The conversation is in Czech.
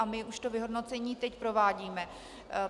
A my už to vyhodnocení teď provádíme.